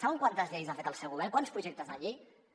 saben quantes lleis ha fet el seu govern quants projectes de llei un